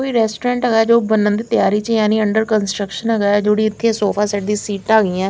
कोई रेस्टोरेंट है जो बन्ने दी तय्यारी चय्यारी अंदर कंस्ट्रक्शन गया सोफा सेट दी सिटा गई हैं।